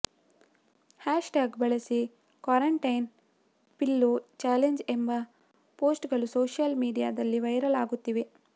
hash tag ಬಳಸಿ quarantine pillow challenge ಎಂಬ ಪೋಸ್ಟ್ಗಳು ಸೋಶಿಯಲ್ ಮಿಡೀಯಾದಲ್ಲಿ ವೈರಲ್ ಆಗುತ್ತಿವೆ